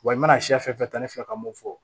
Wa i mana siɲɛ fɛn fɛn ta ne fɛ ka mun fɔ